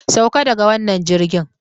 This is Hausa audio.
Sauka daga wannan jirgin!